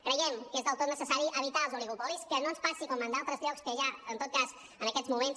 creiem que és del tot necessari evitar els oligopolis que no ens passi com en d’altres llocs que ja en aquests moments